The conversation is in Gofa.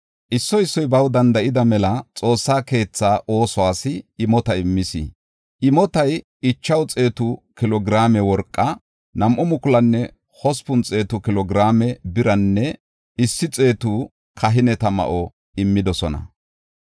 Issoy issoy baw danda7ida mela Xoossa keetha oosuwas imota immis; imotay 500 kilo giraame worqa, 2,800 kilo giraame biranne 100 kahineta ma7o immidosona.